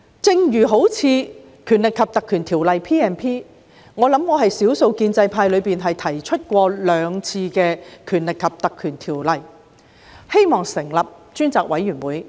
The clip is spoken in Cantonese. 正如《立法會條例》，我是少數建制派議員曾兩次提出引用《條例》成立專責委員會。